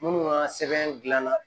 Minnu ka sɛbɛn dilanna